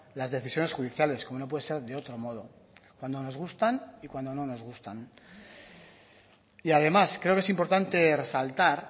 las decisiones judiciales como no puede ser de otro modo cuando nos gustan y cuando no nos gustan y además creo que es importante resaltar